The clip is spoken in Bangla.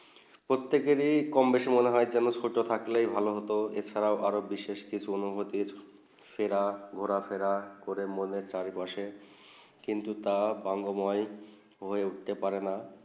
প্রত্যেক দিনে কম বেশি মনে হয়ে স্কুল তা থাকতে ভালো হতো এর ছাড়া আরও বিশেষ কিছু অনুভূতি সেরা ঘোরা ফিরে মনে চাষ বসে কিন্তু তাই বংগো বই তা উঠতে পারে না